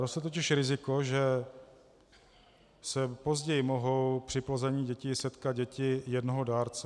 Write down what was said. Roste totiž riziko, že se později mohou při plození dětí setkat děti jednoho dárce.